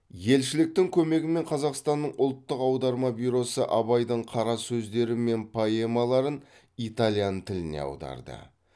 елшіліктің көмегімен қазақстанның ұлттық аударма бюросы абайдың қара сөздері мен поэмаларын итальян тіліне аударды